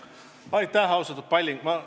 Aitäh, austatud Kalle Palling!